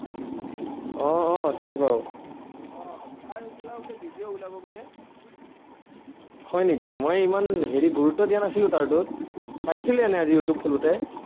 অ অ চিনি পাওঁ। হয় নেকি, মই ইমান হেৰি গুৰুত্ব দিয়া নাছিলো, তাৰটোত। চাইছিলো এনেই youtube খোলোতে।